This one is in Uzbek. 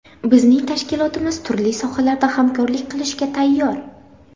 Bizning tashkilotimiz turli sohalarda hamkorlik qilishga tayyor.